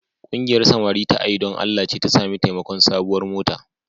Ƙungiyar samari ta A yi Don Allah ce ta sami taimakon sabuwar mota.